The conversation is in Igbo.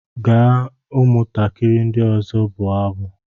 Gaa ụmụntakịrị ndị ọzọ bụọ abụ!